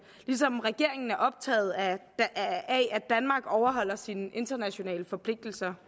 ligesom regeringen er optaget af at danmark overholder sine internationale forpligtelser